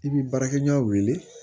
I bi baarakɛ ɲɔgɔn wele